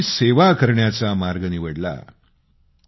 जनतेची सेवा करण्याचा मार्ग निवडला